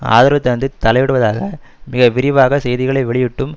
ஆதரவு தந்து தலையிடுவதாக மிக விரிவாக செய்திகளை வெளியிட்டும்